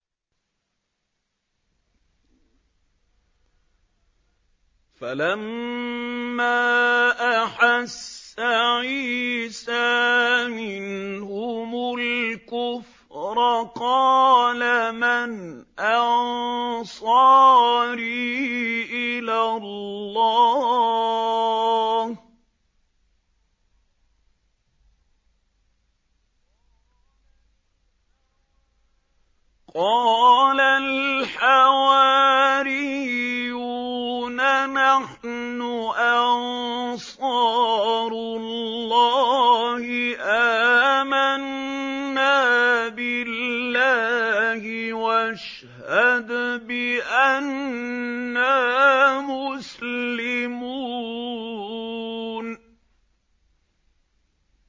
۞ فَلَمَّا أَحَسَّ عِيسَىٰ مِنْهُمُ الْكُفْرَ قَالَ مَنْ أَنصَارِي إِلَى اللَّهِ ۖ قَالَ الْحَوَارِيُّونَ نَحْنُ أَنصَارُ اللَّهِ آمَنَّا بِاللَّهِ وَاشْهَدْ بِأَنَّا مُسْلِمُونَ